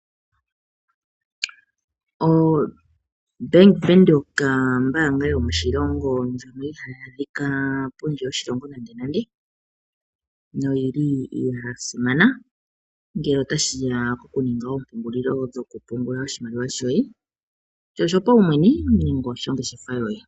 Bank Windhoek ombanga yo moshilongo ndjoka iha yi adhika pondje yoshilongo nande nande noyili yasimana gele ota shiya oku ninga oompungulilo dho ku pungula oshimaliwa shoye kutya osho pawumwene nenge oshongeshefa yoye.